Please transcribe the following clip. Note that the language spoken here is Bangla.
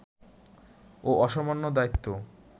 ও অসামান্য দায়িত্ব